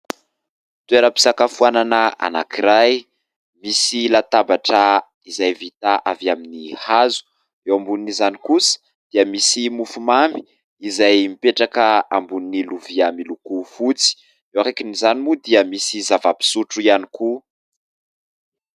Toeram-pisakafoanana anankiray ; misy latabatra izay vita avy amin'ny hazo, eo ambonin'izany kosa dia misy mofomamy izay mipetraka ambony lovia miloko fotsy, eo akaikin'izany moa dia misy zava-pisotro ihany koa.